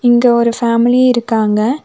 இங்க ஒரு ஃபேமலி இருக்காங்க.